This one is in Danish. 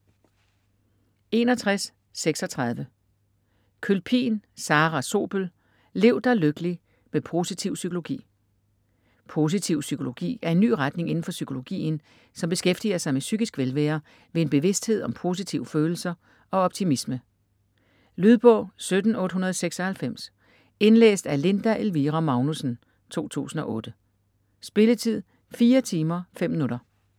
61.36 Kølpin, Sarah Zobel: Lev dig lykkelig - med positiv psykologi Positiv psykologi er en ny retning indenfor psykologien, som beskæftiger sig med psykisk velvære ved en bevidsthed om positive følelser og optimisme. Lydbog 17896 Indlæst af Linda Elvira Magnussen, 2008. Spilletid: 4 timer, 5 minutter.